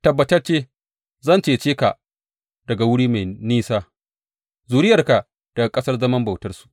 Tabbatacce zan cece ka daga wuri mai nesa, zuriyarka daga ƙasar zaman bautansu.